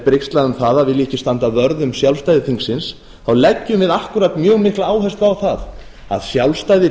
brigslað um það að vilja ekki standa vörð um sjálfstæði þingsins leggjum við akkúrat mjög mikla áherslu á það að sjálfstæði